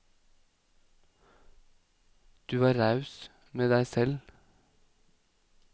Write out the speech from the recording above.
Du var raus med deg selv.